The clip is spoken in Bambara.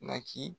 Naki